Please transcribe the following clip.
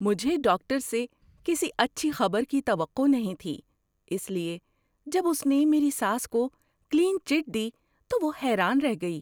مجھے ڈاکٹر سے کسی اچھی خبر کی توقع نہیں تھی، اس لیے جب اس نے میری ساس کو کلین چٹ دی تو وہ حیران رہ گئی۔